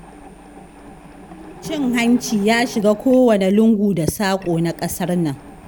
Cin hanci ya shiga kowane lungu da saƙo na ƙasar nan.